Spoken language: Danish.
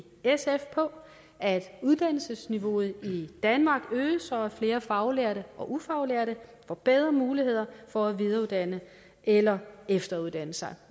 sf at uddannelsesniveauet i danmark øges så flere faglærte og ufaglærte får bedre muligheder for at videreuddanne eller efteruddanne sig